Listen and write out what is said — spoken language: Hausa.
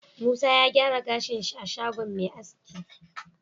Musa ya gyara gashin shi a shagon Me aski